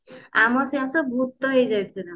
ଆମର ସବୁ ତ ଭୁତ ହେଇ ଯାଇଥିଲୁ ପୁରା